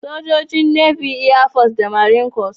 Sojoji, Navy, Air Force, da Marine Corps.